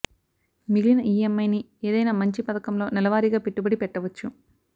మిగిలిన ఈఎంఐ ని ఏదైనా మంచి పధకం లో నెలవారీగా పెట్టుబడి పెట్టవచ్చు